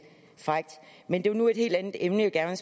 frækt men det var nu et helt andet emne jeg gerne